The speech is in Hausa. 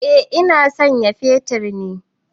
Eh ina sayan fetir ne.